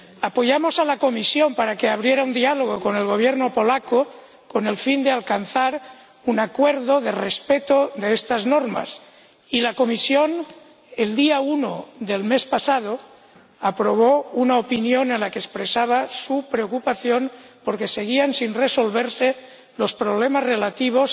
Apoyamos a la Comisión para que iniciara un diálogo con el Gobierno polaco con el fin de alcanzar un acuerdo sobre el respeto de estas normas, y la Comisión, el día 1 del mes pasado, aprobó una opinión en la que expresaba su preocupación por que seguían sin resolverse los problemas relativos